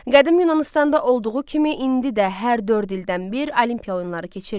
Qədim Yunanıstanda olduğu kimi indi də hər dörd ildən bir Olimpiya oyunları keçirilir.